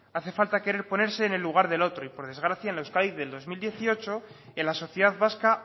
hace falta querer ponerse en el lugar del otro y por desgracia en la euskadi del dos mil dieciocho en la sociedad vasca